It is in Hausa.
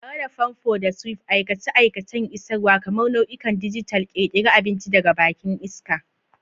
Tare da famfo da swipe, aikace-aikacen isarwa, kamar nau'ikan dijital, ƙirƙira abinci daga bakin iska.